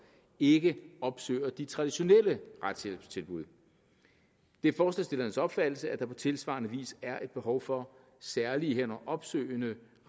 ikke opsøger de traditionelle retshjælpstilbud det er forslagsstillernes opfattelse at der på tilsvarende vis er et behov for særlige herunder opsøgende